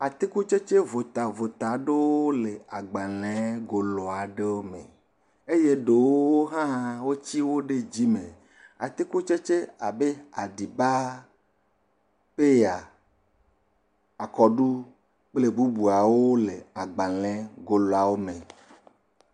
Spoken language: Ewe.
Atikutsetse votavota ɖewo le agbalẽegolo aɖewo me eye ɖewo hã wotsi wo ɖe dzime. Atikutsetsewo abe aɖibaa, peya, akɔɖu kple bubuawo le agbalẽe goloawo me.